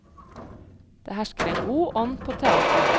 Det hersker en god ånd på teatret.